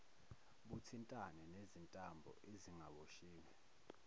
buthintane nezintambo ezingaboshiwe